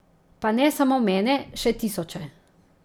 Pa ne samo mene, še tisoče.